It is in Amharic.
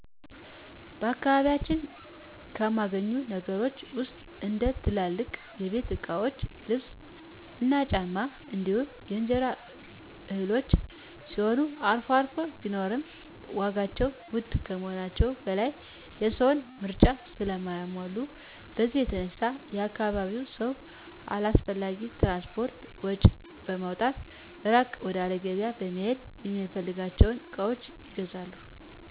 በአካባቢያችን ከማይገኙ ነገሮች ውስጥ እንደ ትልልቅ የቤት እቃዎች ልብስ እና ጫማ እንዲሁም የእንጀራ እህሎች ሲሆኑ አልፎ አልፎ ቢኖሩም ዋጋቸው ውድ ከመሆናቸው በላይ የሰውን ምርጫ ስለማያሟሉ በዚህ የተነሳ የአካባቢው ሰው አላስፈላጊ የትራንስፖርት ወጭ በማውጣት እራቅ ወዳለ ገቢያ በመሄድ የሚፈልጋቸውን እቃዎች ይገዛል።